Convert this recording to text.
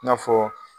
I n'a fɔ